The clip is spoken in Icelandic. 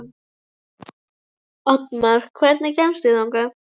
Oddmar, hvernig kemst ég þangað?